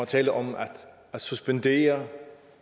taler om at suspendere